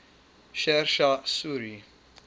sher shah suri